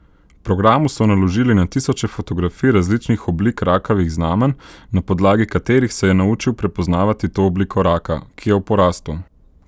Programu so naložili na tisoče fotografij različnih oblik rakavih znamenj, na podlagi katerih se je naučil prepoznavati to obliko raka, ki je v porastu.